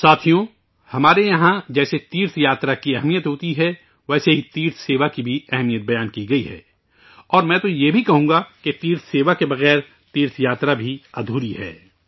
ساتھیو، ہمارے یہاں جیسے تیرتھ یاترا کی اہمیت ہوتی ہے ، ویسے ہی تیرتھ سیوا کی بھی اہمیت بتائی گئی ہے، اور میں تو یہ بھی کہوں گا، تیرتھ سیوا کے بغیر، تیرتھ یاترا بھی ادھوری ہے